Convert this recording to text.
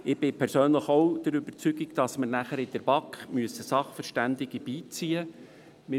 Ich bin persönlich auch davon überzeugt, dass wir nachher in der BaK Sachverständige beiziehen müssen.